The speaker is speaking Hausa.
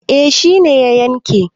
eh shi ne ya yanke